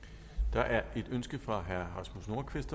der er et ønske fra herre rasmus nordqvist